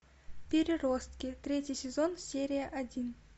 переростки третий сезон серия один